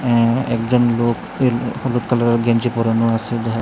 আ্য একজন লোক হইল হলুদ কালারের গেঞ্জি পরানো আসে দেহা--